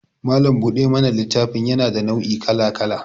Malam buɗe mana littafi yana da nau' I kala-kala